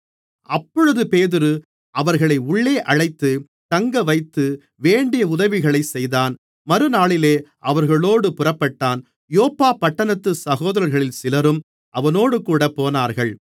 அப்பொழுது பேதுரு அவர்களை உள்ளே அழைத்து தங்க வைத்து வேண்டிய உதவிகளைச் செய்தான் மறுநாளிலே அவர்களோடு புறப்பட்டான் யோப்பா பட்டணத்து சகோதரர்களில் சிலரும் அவனோடுகூட போனார்கள்